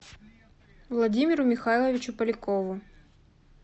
владимиру михайловичу полякову